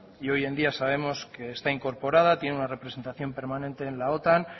y hoy en día sabemos que está incorporada tiene una representación permanente en la otan